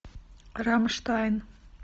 раммштайн